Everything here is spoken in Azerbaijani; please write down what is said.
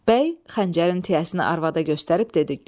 Bəy xəncərin tiyəsini arvada göstərib dedi: